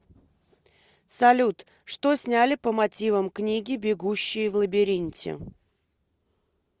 салют что сняли по мотивам книги бегущии в лабиринте